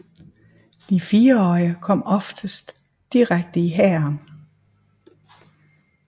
De fireårige kom oftest direkte i hæren